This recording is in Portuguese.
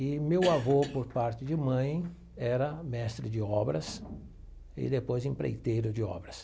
E meu avô, por parte de mãe, era mestre de obras e depois empreiteiro de obras.